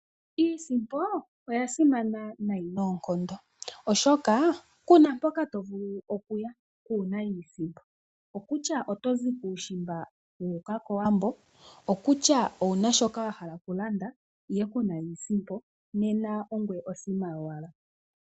Iisimpo oya simana nayi noonkondo oshoka ku na mpoka to vulu okuya kuuna iisimpo. Okutya oto zi kuushimba wa uka kOwambo, okutya owu na shoka wa hala okulanda ihe ku na iisimpo, nena ongoye osima yowala.